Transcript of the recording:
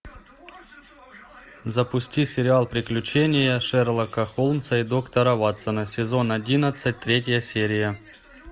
запусти сериал приключения шерлока холмса и доктора ватсона сезон одиннадцать третья серия